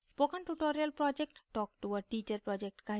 spoken tutorial project talktoa teacher project का हिस्सा है